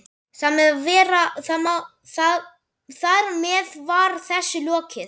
Þar með var þessu lokið.